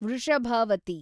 Vrishabhavathi